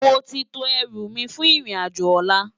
Móti tó èrú mi fún irin ájò òlá